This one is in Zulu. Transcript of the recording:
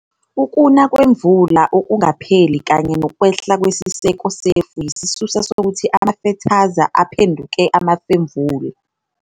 Ukuna kwemvula okungapheli kanye nokwehla kwesiseko sefu yisisusa sokuthi amafethaza aphenduke amafemvula.